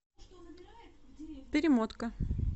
перемотка